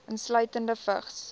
insluitende vigs